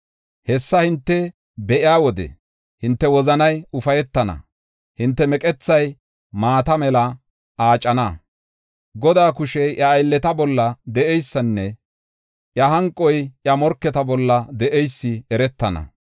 Hessa hinte be7iya wode hinte wozanay ufaytana; hinte meqethay maata mela aacana. Godaa kushey iya aylleta bolla de7eysin iya hanqoy iya morketa bolla de7eysi eretana.